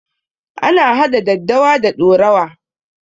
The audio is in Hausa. Ana hada daddawa da ɗorawa.